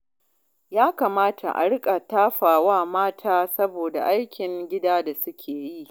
Ya kamata a riƙa tafa wa mata saboda aikin gida da suke yi.